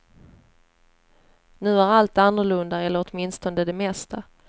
Nu är allt annorlunda, eller åtminstone det mesta.